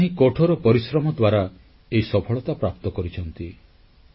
ଏମାନେ ହିଁ କଠୋର ପରିଶ୍ରମ ଦ୍ୱାରା ଏହି ସଫଳତା ପ୍ରାପ୍ତ କରିଛନ୍ତି